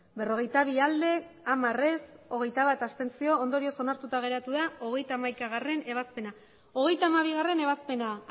berrogeita bi ez hamar abstentzioak hogeita bat ondorioz onartuta geratu da hogeita hamaikagarrena ebazpena hogeita hamabigarrena ebazpena